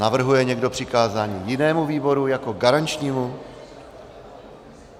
Navrhuje někdo přikázání jinému výboru jako garančnímu?